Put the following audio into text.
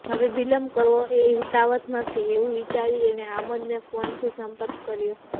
હવે વિલંબ કરવો એ હિતાવહ નથી એવું વિચારીને એણે આમોદનો ફોનથી સંપર્ક કર્યો